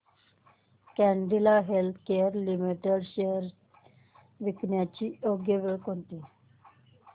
Cadila healthcare limited shares विकण्याची योग्य वेळ कोणती